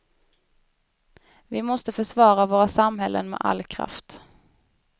Vi måste försvara våra samhällen med all kraft.